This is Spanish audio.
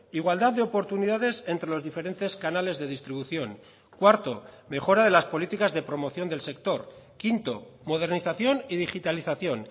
igualdad de oportunidades entre los diferentes canales de distribución cuarto mejora de las políticas de promoción del sector quinto modernización y digitalización